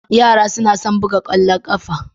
Yara suna son buga ƙwallon ƙafa